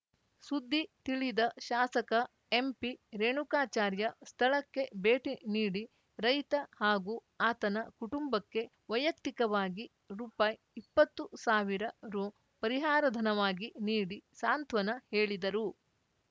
ಸುದ್ದಿ ತಿಳಿದ ಶಾಸಕ ಎಂಪಿರೇಣುಕಾಚಾರ್ಯ ಸ್ಥಳಕ್ಕೆ ಭೇಟಿ ನೀಡಿ ರೈತ ಹಾಗೂ ಆತನ ಕುಟಂಬಕ್ಕೆ ವೈಯಕ್ತಿಕವಾಗಿ ರುಪಾಯಿ ಇಪ್ಪತ್ತು ಸಾವಿರ ರು ಪರಿಹಾರಧನವಾಗಿ ನೀಡಿ ಸಾಂತ್ವನ ಹೇಳಿದರು